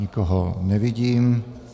Nikoho nevidím.